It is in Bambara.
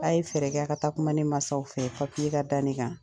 A' ye fɛɛrɛ kɛ, a ka taa kuma ne masaw fɛ ka da ne kan.